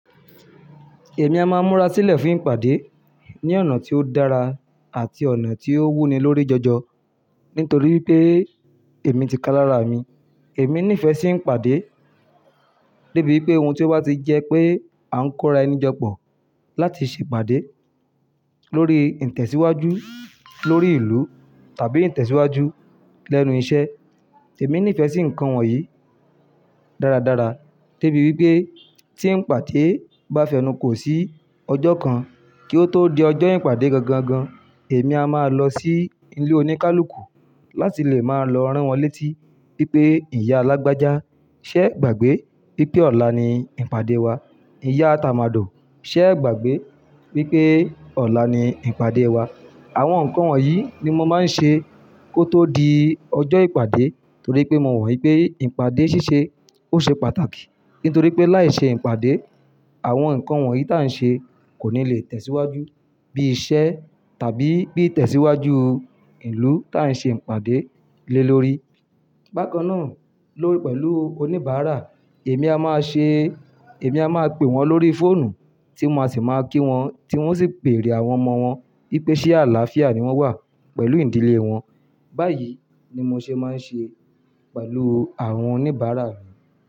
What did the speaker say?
Èmi a máa múra sílẹ̀ fún ìpàdé ní ọ̀nà tí ó dára àti ọ̀nà tí ó wuni lórí jọjọ nítorí pé èmi ti ká lára mi. Èmi nífẹ̀ẹ́ sí ìpàdé débi pé ohun tí ó bá ti jẹ́ pé à ń kóra ẹni jọ pọ̀ láti ṣe ìpàdé lórí ìtẹ̀síwájú lórí ìlú tàbí ìtẹ̀síwájú lẹ́nu iṣẹ́. Èmi nífẹ̀ẹ́ sí nǹkan wọ̀nyí dáradára débi wípé tí ń pàdé bá fi ẹnu kò sí ọjọ́ kan kí ó tó di ọjọ́ ìpàdé gangan gan, èmi a máa lọ sí ilé oníkálukú láti lè máa lọ rán wọn létí pé ìyá lágbájá, ṣẹ́ e gbàgbé wipé ọ̀la ni ìpàdé wa. Ìyá tamado, ṣẹ́ gbàgbé wipé ọ̀la ni ìpàdé wa. Àwọn nǹkan wọ̀nyí ni mo máa ń ṣe kó tó di ọjọ́ ìpàdé torí pé mo mo wípé ìpàdé ṣíṣe ó ṣe pàtàkì. Nítorí pé láì ṣe ìpàdé, àwọn nǹkan wọ̀nyí tá ń ṣe kò ní lè tẹ̀síwájú bí iṣẹ́ tàbí bí ìtẹ̀síwájú ìlú tá ń ṣe ìpàdé lé lórí. Bákan náà lórí pẹ̀lú oníbàárà, èmi a máa ṣe, èmi a máa pe wọ́n lórí fóònù tí mo máa sì máa kí wọ́n, tí wọ́n sì béèrè àwọn ọmọ wọn pé ṣé àlàáfíà ni wọ́n wà pẹ̀lú ìdílé wọn. Báyìí ni mo ṣe máa ń ṣe pẹ̀lú àwọn oníbàárà mi.